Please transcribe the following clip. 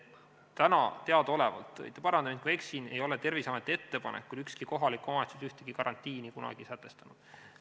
Täna teadaolevalt – parandage, kui ma eksin – ei ole Terviseameti ettepanekul ükski kohalik omavalitsus ühtegi karantiini kunagi sätestanud.